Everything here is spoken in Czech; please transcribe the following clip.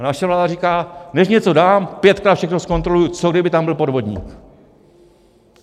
A naše vláda říká: než něco dám, pětkrát všechno zkontroluji, co kdyby tam byl podvodník.